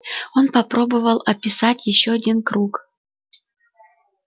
он попробовал описать ещё один круг